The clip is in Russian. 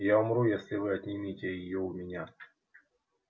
я умру если вы отнимете её у меня